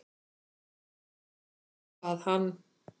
Svo að hann.